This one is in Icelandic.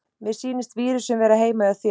Mér sýnist vírusinn vera heima hjá þér.